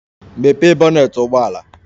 Mepee bonnet ụgbọ ala!